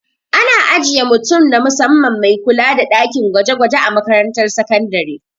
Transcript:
Ana ajiye mutum na musamman mai kula da ɗakin gwaje-gwaje a makarantar sakandare.